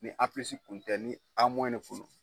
Ni A kun tɛ ni A ne kun no.